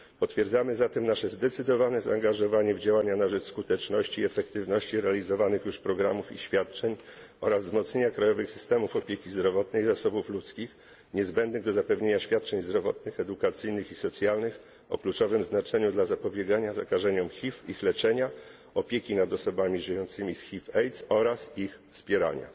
Potwierdzamy zatem nasze zdecydowane zaangażowanie w działania na rzecz skuteczności i efektywności realizowanych już programów i świadczeń oraz wzmocnienia krajowych systemów opieki zdrowotnej, zasobów ludzkich, niezbędnych do zapewnienia świadczeń zdrowotnych, edukacyjnych i socjalnych o kluczowym znaczeniu dla zapobiegania zakażeniom HIV, ich leczenia, opieki nad osobami żyjącymi z HIV AIDS oraz ich wspierania.